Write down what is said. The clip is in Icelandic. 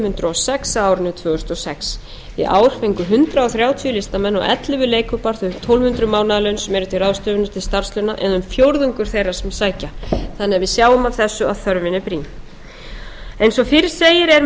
hundruð og sex á árinu tvö þúsund og sex í ár fengu hundrað þrjátíu listamenn og ellefu leikhópar þau tólf hundruð mánaðarlaun sem eru til ráðstöfunar til starfslauna eða um fjórðungur þeirra sem sækja þannig að við sjáum af þessu að þörfin er brýn eins og fyrr segir er